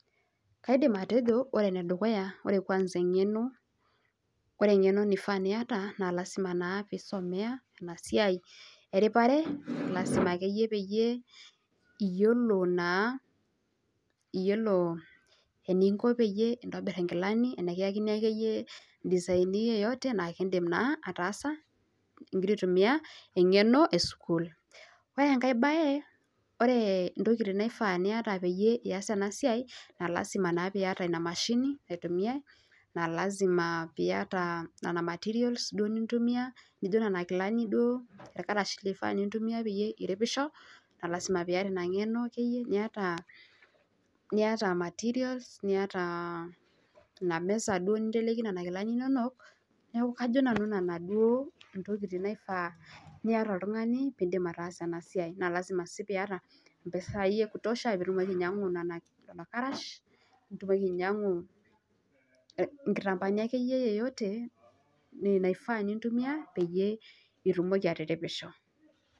Kaidim atejo, ore ene dukuya naa eng'eno. ore eng'eno naifaa pee iyata, pee isomea Ina siai eripare. lasima akeyie pee iyiolo naa iyiolo eninko peyie intobiru inkilani, ana kiyakini akeyie i design yeyote .naa kidim naa ataasa igira aitumia eng'eno esukuul. ore enkae bae, ore ntokitin naifaa pee iyata, peyie iyas ena siai. naa lasima naa pee iyata Ina mashini pee iyas ena siai. naa lasima pee iyata nena materials nintumia ,naijo Nena Kilani duo. ilkarash lintumia peyie iripisho. naa lasima peyie, iyata Ina ng'eno akeyie. niyata materials niyata Ina mess duo ninteleki nena kilani inonok. neeku kajo nanu nena duo, ntokitin naifaa niyata oltungani. pee idim ataasa ena siai. naa lasima sii pee iyata mpisai ekutosha pee itumoki ainyiangu lelo karasha. nitymoki ainyiangu nkitampaani akeyie yeyote naifaa nintumia ,peyie itumoki atiripisho.